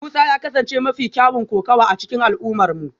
Musa ya kasance mafi kyawun kokawa a cikin al'ummarmu